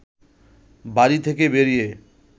বাড়ি থেকে বেরিয়ে